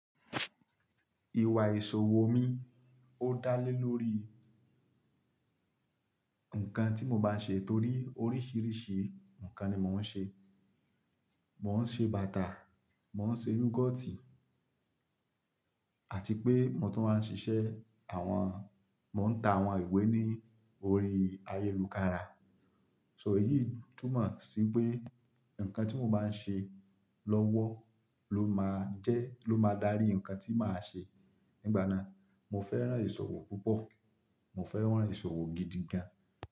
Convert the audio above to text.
Ìwà ìṣòwò mi ó dá lé lórí nǹkan tí mo bá n ṣe torí oríṣiríṣi nǹkan ni mo ń ṣe. Mò ń ṣe bàtà, mò ń ṣe yúgoọ́tì àti pé mo tún wáa ń ṣiṣẹ́ àwọn mò ń ta àwọn ìwé ní orí ayélukára. So èyí túmọ̀ sí pé, ǹkan tí mo bá ń ṣe lọ́wọ́ ló máa jẹ́, ló máa dárí ǹkan tí màá ṣe nígbà náà. Mo fẹ́ràn ìṣòwò púpọ̀, mo fẹ́ràn ìṣòwò gidigan.